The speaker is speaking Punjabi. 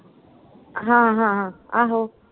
ਹਾਂ ਹਾਂ ਹਾਂ, ਆਹੋ।